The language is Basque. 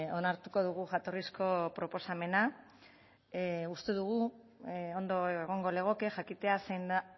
onartuko dugu jatorrizko proposamena uste dugu ondo egongo legoke jakitea zein da